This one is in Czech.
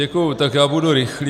Děkuju, tak já budu rychlý.